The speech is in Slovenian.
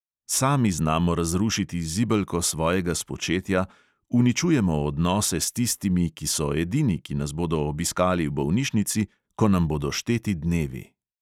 Sami znamo razrušiti zibelko svojega spočetja, uničujemo odnose s tistimi, ki so edini, ki nas bodo obiskali v bolnišnici, ko nam bodo šteti dnevi.